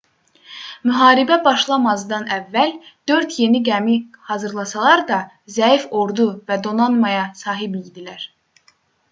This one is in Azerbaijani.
müharibə başlamazdan əvvəl dörd yeni gəmi hazırlasalar da zəif ordu və donanmaya sahib idilər